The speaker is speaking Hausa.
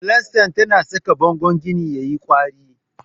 Filasta tana saka bangon gini yayi kwari.